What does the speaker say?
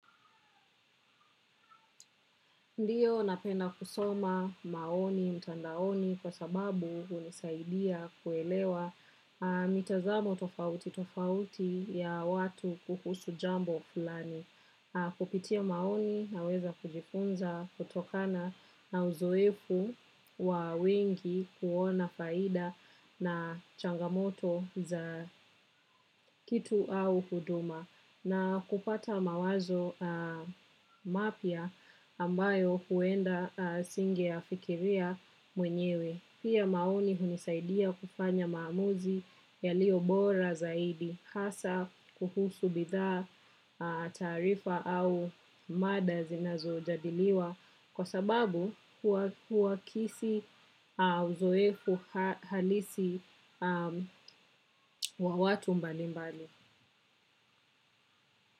Ndiyo napenda kusoma maoni mtandaoni kwa sababu hunisaidia kuelewa mitazamo tofauti tofauti ya watu kuhusu jambo fulani. Kupitia maoni naweza kujifunza kutokana na uzoefu wa wengi kuona faida na changamoto za kitu au huduma. Na kupata mawazo mapya ambayo huenda singeyafikiria mwenyewe. Pia maoni hunisaidia kufanya maamuzi yaliyo bora zaidi hasa kuhusu bidhaa taarifa au mada zinazojadiliwa kwa sababu huakisi uzoefu halisi wa watu mbalimbali.